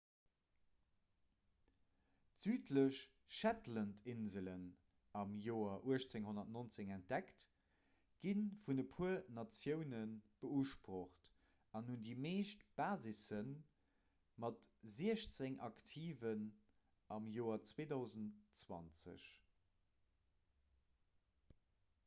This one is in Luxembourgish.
d'südlech shetlandinselen am joer 1819 entdeckt gi vun e puer natioune beusprocht an hunn déi meescht basissen mat siechzéng aktiven am joer 2020